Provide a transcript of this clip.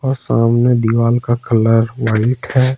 और सामने दीवार का कलर व्हाइट है।